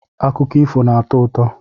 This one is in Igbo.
Akụkọ ifo na-atọ ụtọ.